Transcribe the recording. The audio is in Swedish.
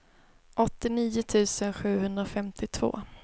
åttionio tusen sjuhundrafemtiotvå